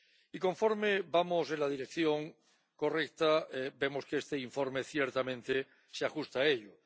Y conforme vamos en la dirección correcta, vemos que este informe ciertamente se ajusta a ello.